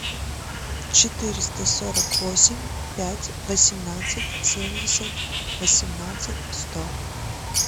четыреста сорок восемь пять восемнадцать семьдесят восемнадцать сто